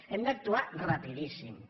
hem d’actu·ar rapidíssimament